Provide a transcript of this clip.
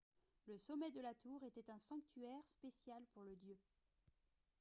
le sommet de la tour était un sanctuaire spécial pour le dieu